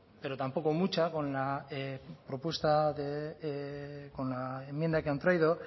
pero tampoco mucha con la enmienda que han traído